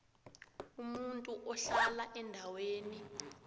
umuntu ohlala endaweni